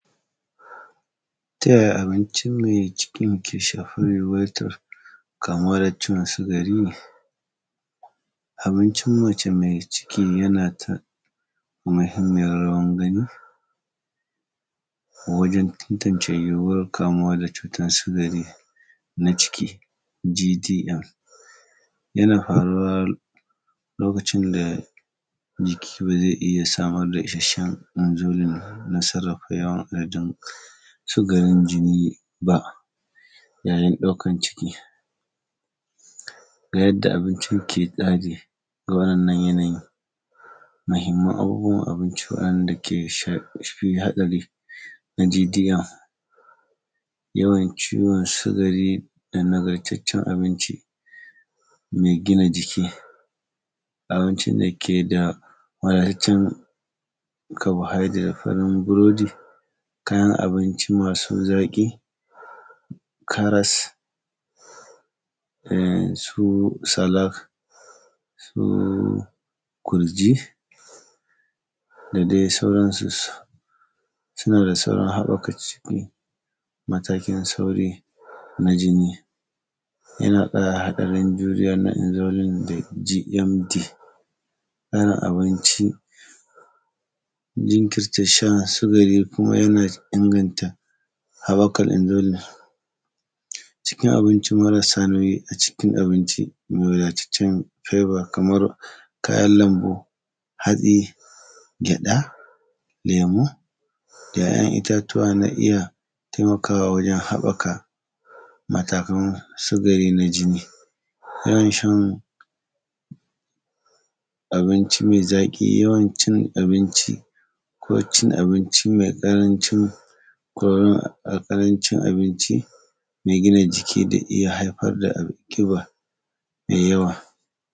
Ta yaya abinci mai cikin ke shafar mai bata kamuwa da ciwon sigari. Abincin mace mai ciki yana ta; muhimmiyar rawan gani wajen tantance yiwuwar kamuwa da cutan sigari na ciki, “GDM”. Yana faruwa, lokacin da jiki ba ze iya samar da isasshen “nonzalin” na sarrafa yawan adadin sigarin jini ba yayin ɗaukan ciki. Ga yadda abinci ke tsadi ga wa’yannan yanayi, muhimman abubuwan abinci waɗanda ke sh; fi haɗari na “GDM’, yawan ciwon sigari da nagartaccen abinci mai gina jiki, abincin dake da wadataccen “carbohydrate” kaman burodi, kaman abinci masu zaƙi. Karas, su salak, su gurji, da dai sauransu, suna da saurin haƃaka ciwo. Matakin sauri na jini, yana ƙara haɗarin juriya na “enzolyn” da “GMD”, gane abinci, jinkirta shan sigari kuma yana inganta haƃakan “enzolyn”. Cikin abinci marasa nauyi a cikin abinci, mai wadataccen “piber” kamar kayan lambu, hatsi, gyaɗa, lemu. ‘Ya’yan itatuwa na iya taimakawa wajen haƃaka matakan sigari na jini. Yawan shan abinci mai zaƙi, yawan cin abinci ko cin abinci mai ƙaranci “curry” a ƙarancin abinci mai gina jiki, da iya haifar da abu; ƙiba mai yawa.